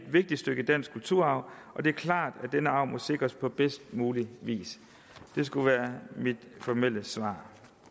vigtigt stykke dansk kulturarv og det er klart at denne arv må sikres på bedst mulig vis det skulle være mit formelle svar